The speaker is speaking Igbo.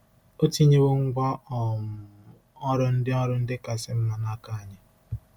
O tinyewo ngwá um ọrụ ndị ọrụ ndị kasị mma n'aka anyị.